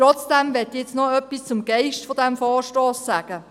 Ich möchte noch etwas zum Geist dieses Vorstosses sagen: